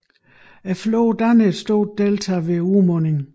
Floden danner et stort delta ved udmundingen